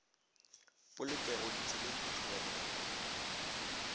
polokego ditseleng ke tlhobaboroko mo